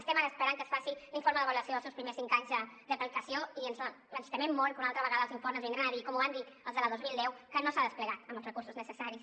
estem ara esperant que es faci l’informe d’avaluació dels seus primers cinc anys d’aplicació i ens temem molt que una altra vegada els informes vindran a dir com ho van dir els de la dos mil deu que no s’ha desplegat amb els recursos necessaris